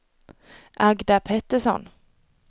Agda Petersson